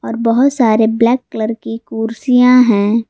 बहुत सारे black colour के कुर्सियां है।